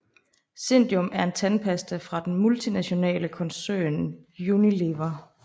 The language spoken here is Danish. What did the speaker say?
zendium er en tandpasta fra den multinationale koncern Unilever